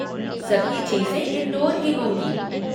सभी चीज़ें इनडोर ही होंगी।